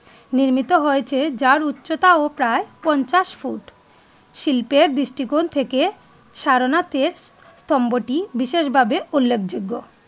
নির্মিত হয়েছে যার উচ্চতা ও প্রায় পঞ্চাশ ফুট শিল্পে দৃষ্টিকোণ থেকে সারনাথে এর স্তম্ভটি বিশেষভাবে উল্লেখযোগ্য